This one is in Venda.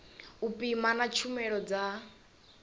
u pima na tshumelo dza